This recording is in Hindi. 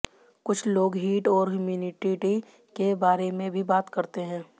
कुछ लोग हीट और ह्यूमिडिटी के बारे में भी बात करते हैं